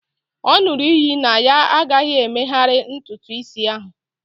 ọ ṅụrụ iyi na ya agaghị emegharị ntutu isi ahụ